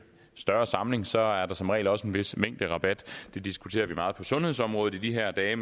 større samling for så er der som regel også en vis mængderabat det diskuterer vi meget på sundhedsområdet i de her dage